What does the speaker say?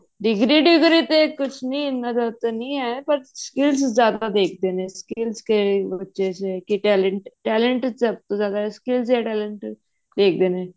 degree degree ਤੇ ਕੁਛ ਨੀ ਇੰਨਾ ਜਿਆਦਾ ਨਹੀਂ ਹੈ ਪਰ skills ਜਿਆਦਾ ਦੇਖਦੇ ਨੇ skills ਕਿਹੜੀ ਬੱਚੇ ਚ ਕੀ talent ਹੈ talent ਸਭ ਤੋਂ ਜਿਆਦਾ skills ਤੇ talent ਦੇਖਦੇ ਨੇ